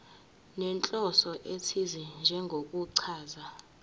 nenhloso ethize njengokuchaza